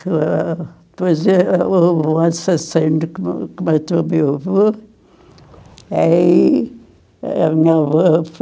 Ah, Depois o assassino que que matou o meu avô. Aí a minha foi